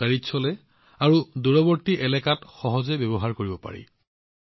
ই বেটাৰীত চলে আৰু দূৰৱৰ্তী এলেকাত সহজে ব্যৱহাৰ কৰিব পাৰি